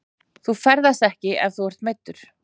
Þú ferðast ekki ef þú ert meiddur.